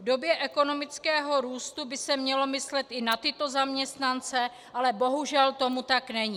V době ekonomického růstu by se mělo myslet i na tyto zaměstnance, ale bohužel tomu tak není.